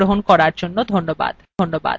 এই টিউটোরিয়ালএ অংশগ্রহন করার জন্য ধন্যবাদ